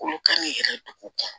Olu kan k'i yɛrɛ dugu kɔnɔ